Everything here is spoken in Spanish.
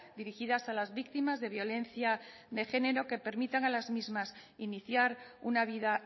dirigidas a las víctimas de violencia de género que permitan a las mismas iniciar una vida